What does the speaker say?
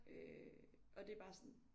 Øh og det bare sådan